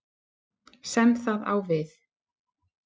sem það á við.